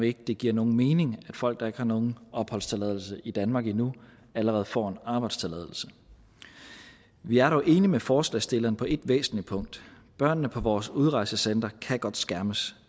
ikke det giver nogen mening at folk der ikke har nogen opholdstilladelse i danmark endnu allerede får arbejdstilladelse vi er dog enige med forslagsstillerne på et væsentligt punkt børnene på vores udrejsecentre kan godt skærmes